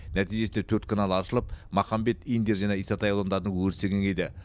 нәтижесінде төрт канал аршылып махамбет индер және исатай аудандарының өрісі кеңейді